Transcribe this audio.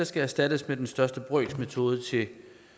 skal erstattes af den største brøks metode til